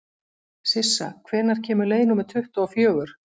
Sissa, hvenær kemur leið númer tuttugu og fjögur?